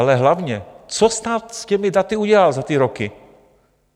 Ale hlavně, co stát s těmi daty udělal za ty roky?